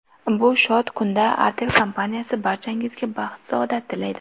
Bu shod kunda Artel kompaniyasi barchangizga baxt-saodat tilaydi.